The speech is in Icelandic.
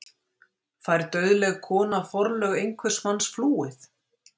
Fær dauðleg kona forlög hvers manns flúið?